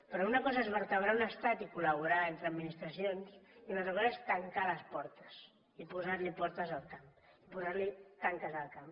però una cosa és vertebrar un estat i col·laborar entre administracions i una altra cosa és tancar les portes i posar portes al camp posar tanques al camp